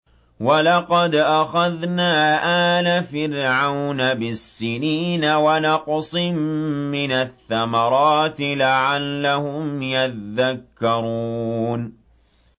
وَلَقَدْ أَخَذْنَا آلَ فِرْعَوْنَ بِالسِّنِينَ وَنَقْصٍ مِّنَ الثَّمَرَاتِ لَعَلَّهُمْ يَذَّكَّرُونَ